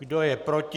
Kdo je proti?